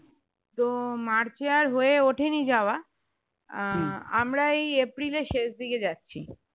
তো মার্চে আর হয়ে ওঠেনি যাওয়া আহ আমরা এই এপ্রিলের শেষ দিকে যাচ্ছি